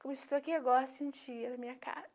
Como estou aqui agora sentia na minha casa.